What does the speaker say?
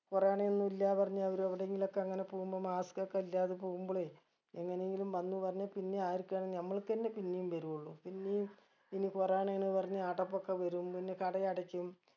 corona ഒന്നും ഇല്ല പറഞ്ഞ് അവര് എവിടെങ്കിലൊക്കെ അങ്ങനെ പോകുമ്പം mask ഒക്കെ ഇല്ലാതെ പോകുമ്പളെ എങ്ങനെയെങ്കിലും വന്ന് പറഞ്ഞ് പിന്നെ ആർക്കാണ് നമ്മൾക്കെന്നെ പിന്നെയും ബെരു ഉള്ളു പിന്നിം പിന്നിം corona ആണ് പറഞ്ഞ് അടപ്പൊക്കെ വരും പിന്നെ കട അടക്കും